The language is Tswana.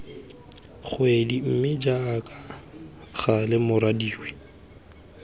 kgwedi mme jaaka gale morwadie